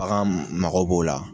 Bagan mago b'o la.